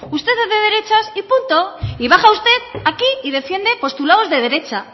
usted es de derechas y punto y baja usted aquí y defiende postulados de derecha